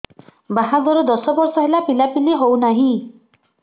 ବାହାଘର ଦଶ ବର୍ଷ ହେଲା ପିଲାପିଲି ହଉନାହି